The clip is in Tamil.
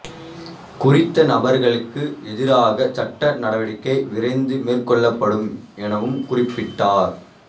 குறித்த நபர்களுக்கு எதிராக சட்ட நடவடிக்கை விரைந்து மேற்கொள்ளப்படும் எனவும் குறிப்பிட்டார்